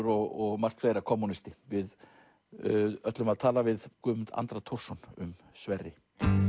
og margt fleira kommúnisti við ætlum að tala við Guðmund Andra Thorsson um Sverri